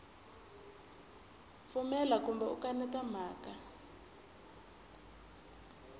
pfumela kumbe u kaneta mhaka